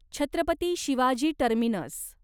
Chhatrapati Shivaji terminus